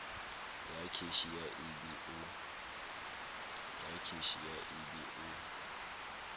ya cashier e be o